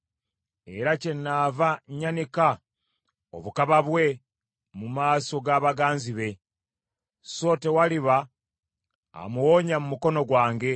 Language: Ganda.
Era kyenaava nyanika obukaba bwe mu maaso ga baganzi be, so tewaliba amuwonya mu mukono gwange.